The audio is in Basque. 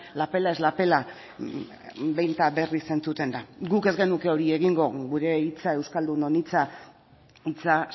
la pela es la pela behin eta berriz entzuten da guk ez genuke hori egingo gure hitza euskaldunon hitza hitza